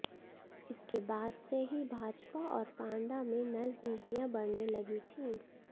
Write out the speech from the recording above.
इसके बाद से ही भाजपा और पांडा में नज़दीकियाँ बढ़ने लगी थीं